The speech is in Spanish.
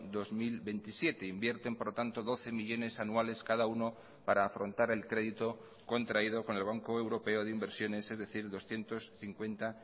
dos mil veintisiete invierten por lo tanto doce millónes anuales cada uno para afrontar el crédito contraído con el banco europeo de inversiones es decir doscientos cincuenta